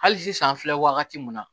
Hali sisan an filɛ wagati mun na